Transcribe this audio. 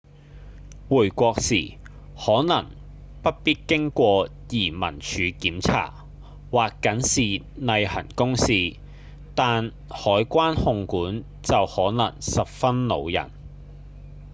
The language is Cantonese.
回國時可能不必經過移民署檢查或僅是例行公事但海關控管就可能十分惱人